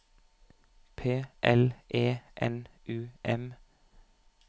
P L E N U M